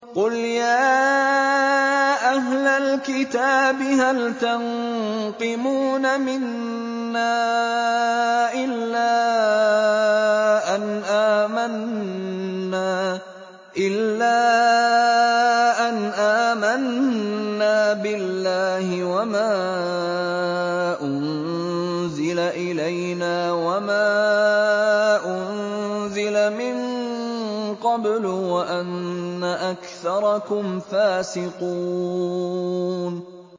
قُلْ يَا أَهْلَ الْكِتَابِ هَلْ تَنقِمُونَ مِنَّا إِلَّا أَنْ آمَنَّا بِاللَّهِ وَمَا أُنزِلَ إِلَيْنَا وَمَا أُنزِلَ مِن قَبْلُ وَأَنَّ أَكْثَرَكُمْ فَاسِقُونَ